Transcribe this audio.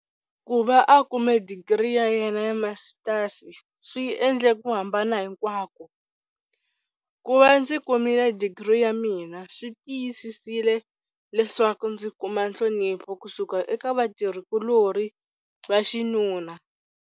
Ku va a kume digiri ya yena ya Masitasi swi endle ku hambana hinkwako. Ku va ndzi kumile digiri ya mina swi tiyisisile leswaku ndzi kuma nhlonipho ku suka eka vatirhi kulorhi va xinuna.